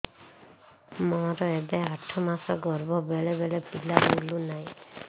ମୋର ଏବେ ଆଠ ମାସ ଗର୍ଭ ବେଳେ ବେଳେ ପିଲା ବୁଲୁ ନାହିଁ